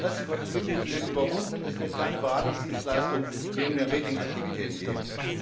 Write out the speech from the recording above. Die Interessenkonflikte sind überwunden, es wird keine Beratungsdienstleistungen neben den Ratingaktivitäten geben.